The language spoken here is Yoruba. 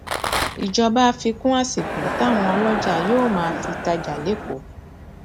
ìjọba fi kún àsìkò táwọn ọlọjà yóò máa fi tajà lẹkọọ